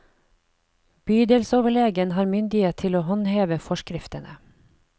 Bydelsoverlegen har myndighet til å håndheve forskriftene.